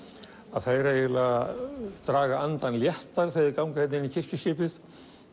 að þeir eiginlega draga andann léttar þegar þeir ganga hérna inn í kirkjuskipið